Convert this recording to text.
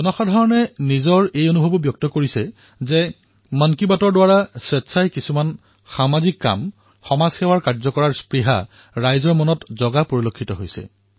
জনতাই এয়াও কৈছে যে মন কী বাতৰ দ্বাৰা স্বেচ্ছাই কিবা এটা কৰাৰ ইচ্ছা উদ্ৰেক হয়